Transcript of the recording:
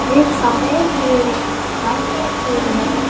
एक सफेद बिल्डिंग बनी हुई है।